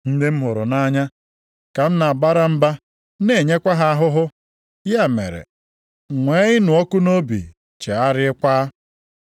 Ndị m hụrụ nʼanya ka m na-abara mba na-enyekwa ha ahụhụ. Ya mere, nwee ịnụ ọkụ nʼobi, chegharịakwa.